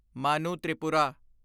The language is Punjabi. ਮਾਨੂ ਤ੍ਰਿਪੁਰਾ